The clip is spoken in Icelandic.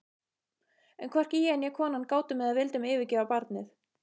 En hvorki ég né konan gátum eða vildum yfirgefa barnið.